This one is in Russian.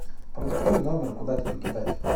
продиктуй номер куда тебе кидать